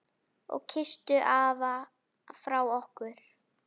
Og kysstu afa frá okkur.